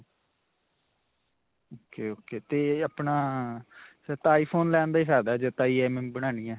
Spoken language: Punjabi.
ok. ok. 'ਤੇ ਆਪਣਾ ਫਿਰ ਤਾਂ iphone ਲੇਣ ਦਾ ਹੀ ਫਾਇਦਾ ਹੈ, ਜੇ ਤਾਂ EMI ਬਨਾਣੀ ਹੈ.